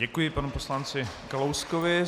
Děkuji panu poslanci Kalouskovi.